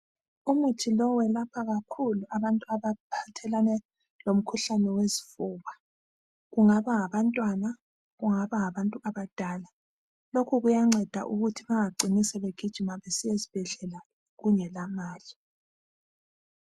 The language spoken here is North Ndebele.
Umuthi lowu welapha kakhulu abantu abaphathelane lomkhuhlane wezifuba, kungaba ngabantwana, kungaba ngabantu abadala lokhu kuyanceda ukuthi bangacini sebegijima sebesiya ezibhedlela kungela mali.